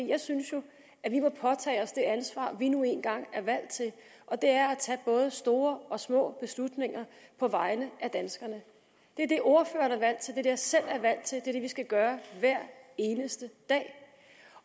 jeg synes jo at vi må påtage os det ansvar vi nu engang er valgt til og det er at tage både store og små beslutninger på vegne af danskerne det er det ordføreren er valgt til det jeg selv er valgt til er det vi skal gøre hver eneste dag